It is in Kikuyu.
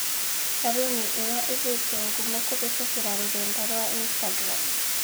Caruni ĩyo ĩgĩte ngumo kũhĩtũkĩra rũrenda rwa Instagram.